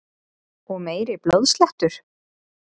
Og meiri blóðslettur!